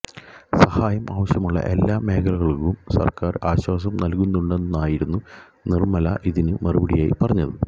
സഹായം ആവശ്യമുള്ള എല്ലാ മേഖലകള്ക്കും സര്ക്കാര് ആശ്വാസം നല്കുന്നുണ്ടെന്നായിരുന്നു നിര്മല ഇതിന് മറുപടിയായി പറഞ്ഞത്